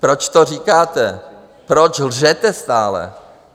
Proč to říkáte, proč lžete stále?